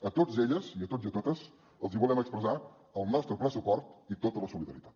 a tots ells i a tots i a totes els volem expressar el nostre ple suport i tota la solidaritat